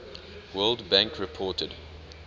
world bank reported